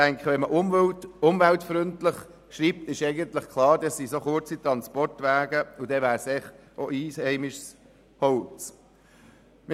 Ich denke, wenn man «umweltfreundlich» schreibt, ist eigentlich klar, dass es auch um kurze Transportwege geht und es sich deshalb um einheimisches Holz handeln muss.